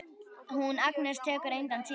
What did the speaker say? Hún Agnes tekur engan síma núna.